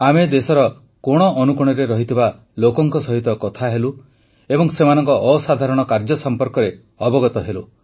ଆମେ ଦେଶର କୋଣଅନୁକୋଣରେ ଥିବା ଲୋକଙ୍କ ସହିତ କଥା ହେଲୁ ଏବଂ ସେମାନଙ୍କ ଅସାଧାରଣ କାର୍ଯ୍ୟ ସମ୍ପର୍କରେ ଅବଗତ ହେଲୁ